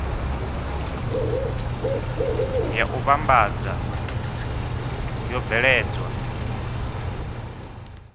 ya u vhambadza yo bveledzwa